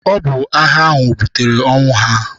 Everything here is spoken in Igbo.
Ọ bụ agha ahụ butere ọnwụ ha.